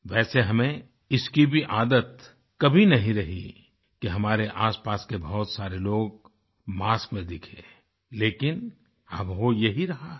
वैसे हमें इसकी भी आदत कभी नहीं रही कि हमारे आसपास के बहुत सारे लोग मास्क में दिखें लेकिन अब हो यही रहा है